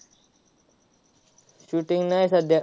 Shooting नाय सध्या.